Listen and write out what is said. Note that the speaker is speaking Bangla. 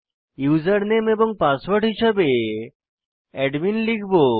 ইউসারনেম এবং পাসওয়ার্ড হিসাবে অ্যাডমিন লিখব